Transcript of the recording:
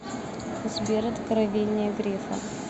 сбер откровения грефа